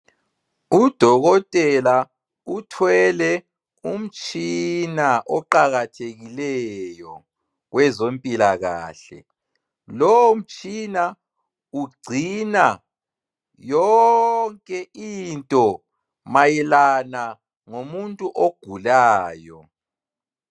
Udokotela uthwele umtshina oqakathekileyo wezompilakahle. Lowomtshina ugcina yonke into mayelana ngomuntu ogulayo.